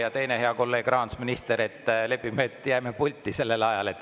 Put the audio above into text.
Ja teiseks, hea kolleeg rahandusminister, lepime kokku, et jääme pulti.